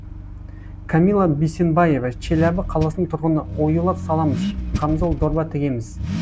камила бисенбаева челябі қаласының тұрғыны оюлар саламыз қамзол дорба тігеміз